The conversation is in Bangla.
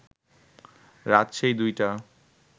রাত সেই দুইটা